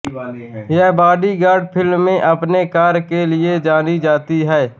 वह बॉडीगार्ड फिल्म में अपने कार्य के लिए जानी जाती है